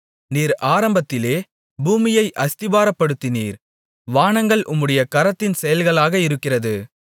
நீர் ஆரம்பத்திலே பூமியை அஸ்திபாரப்படுத்தினீர் வானங்கள் உம்முடைய கரத்தின் செயல்களாக இருக்கிறது